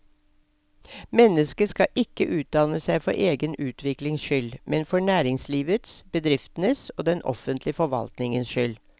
Mennesket skal ikke utdanne seg for egen utviklings skyld, men for næringslivets, bedriftenes og den offentlige forvaltningens skyld.